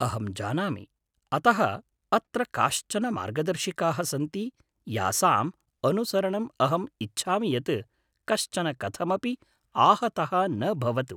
अहं जानामि, अतः अत्र काश्चन मार्गदर्शिकाः सन्ति यासाम् अनुसरणम् अहम् इच्छामि यत् कश्चन कथमपि आहतः न भवतु!